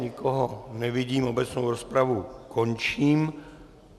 Nikoho nevidím, obecnou rozpravu končím.